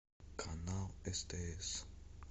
канал стс